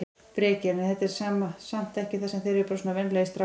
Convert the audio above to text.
Breki: En er þetta samt ekki eru þeir ekki bara svona venjulegir strákar?